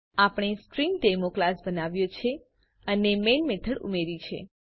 આપણે string demo class બનાવ્યો છે અને મેઈન મેથડ ઉમેર્યી છે